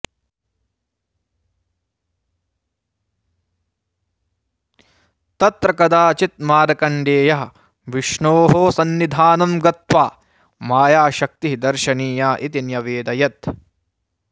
तत्र कदाचित् मार्कण्डेयः विष्णोः सन्निधानं गत्वा मायाशक्तिः दर्शनीया इति न्यवेदयत्